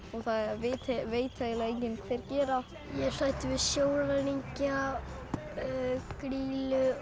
og það veit það enginn hver gerir það ég er hræddur við sjóræningja grýlu